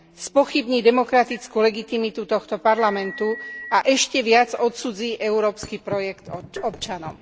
Spochybní demokratickú legitimitu tohto Parlamentu a ešte viac odcudzí európsky projekt občanom.